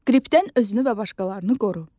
Qripdən özünü və başqalarını qoru.